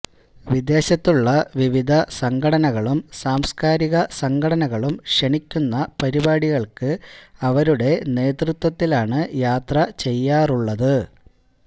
വിദേശത്തുള്ള വിവിധ സംഘടനകളും സാംസ്കാരിക സംഘടനകളും ക്ഷണിക്കുന്ന പരിപാടികള്ക്ക് അവരുടെ നേതൃത്വത്തിലാണ് യാത്ര ചെയ്യാറുള്ളത്